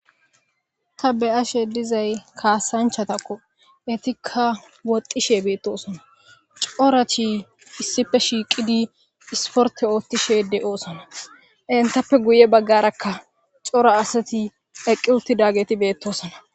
ta beyashe dizay kaasanchatakko etikka woxxishe beettosona cora chi issife shiiqidi isporte oothtishe de7oosona intappe guye baggarakka cora asati eqqi uttidageti beettosona